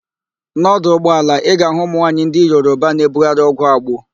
N'ọdụ ụgbaala, ị ga-ahụ ụmụ nwaanyị ndị Yoroba na-ebugharị ọgwụ agbo.